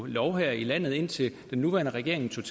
lov her i landet indtil den nuværende regering